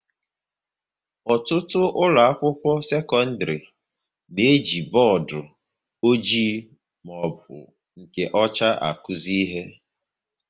Ọtụtụ ụlọ akwụkwọ sekọndrị na-eji bọọdụ ọjị maọbụ nke ọcha akuzi ihe